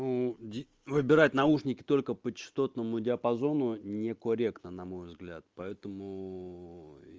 ну д выбирать наушники только по частотному диапазону некорректно на мой взгляд поэтому и